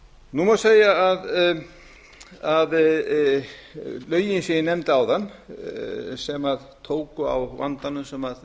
nú má segja að lögin sem ég nefndi áðan sem tóku á vandanum sem